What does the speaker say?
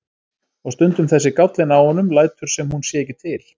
Og stundum þessi gállinn á honum, lætur sem hún sé ekki til.